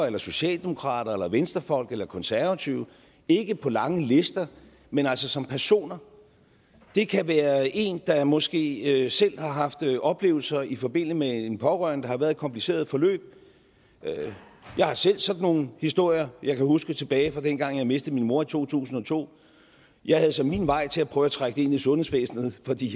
eller socialdemokrater eller venstrefolk eller konservative ikke på lange lister men altså som personer det kan være en der måske selv har haft oplevelser i forbindelse med en pårørende der har været i et kompliceret forløb jeg har selv sådan nogle historier jeg kan huske tilbage fra dengang jeg mistede min mor i to tusind og to jeg havde så min vej til at prøve at trække det ind i sundhedsvæsenet fordi